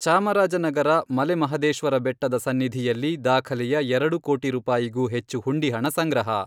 ಚಾಮರಾಜನಗರ ಮಲೆಮಹದೇಶ್ವರ ಬೆಟ್ಟದ ಸನ್ನಿಧಿಯಲ್ಲಿ ದಾಖಲೆಯ ಎರಡು ಕೋಟಿ ರೂಪಾಯಿಗೂ ಹೆಚ್ಚು ಹುಂಡಿ ಹಣ ಸಂಗ್ರಹ.